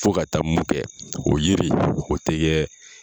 Fo ka taa mun kɛ, o yiri o tɛ kɛ